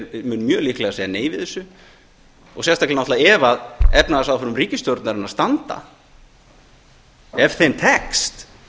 mun mjög líklega segja nei við þessu og sérstaklega náttúrlega ef efnahagsáform ríkisstjórnarinnar standa ef þeim tekst